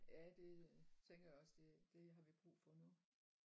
Ja det øh tænker jeg også det det har vi brug for nu